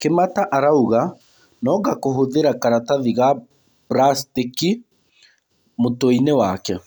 Kĩmata arauga nonga kũhũthĩra karatathi ga buracitĩki mũtweinĩ wake.